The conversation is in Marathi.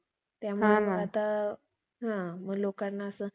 त्यामुळे आता हा मग लोकांना असं